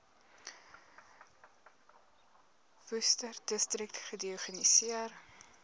worcesterdistrik gediagnoseer